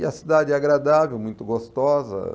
E a cidade é agradável, muito gostosa.